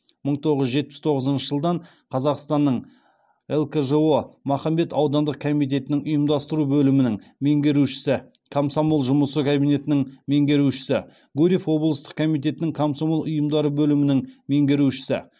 мың тоғыз жүз жетпіс тоғызыншы жылдан қазақстанның лкжо махамбет аудандық комитетінің ұйымдастыру бөлімінің меңгерушісі комсомол жұмысы кабинетінің меңгерушісі гурьев облыстық комитетінің комсомол ұйымдары бөлімінің меңгерушісі